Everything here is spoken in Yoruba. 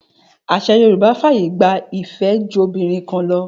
Àṣà Yorùbá fàyè gba ìfẹ́jobìnrinkanlọ.